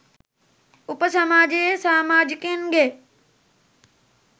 උප සමාජයේ සාමාජිකයින් ගේ